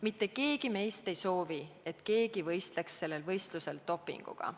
Mitte keegi meist ei soovi, et keegi võistleks sellel võistlusel dopinguga.